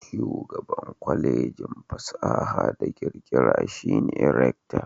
Shugaban Kwalejin fasaha da kirkira shi ne rakta.